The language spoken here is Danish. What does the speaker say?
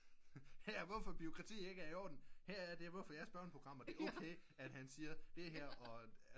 Her er hvorfor bureaukrati ikke er i orden her er det hvorfor jeres børneprogrammer det er okat han siger det her